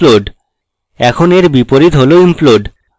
এখন এর বিপরীত হল implode